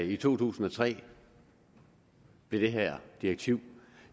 i to tusind og tre blev det her direktiv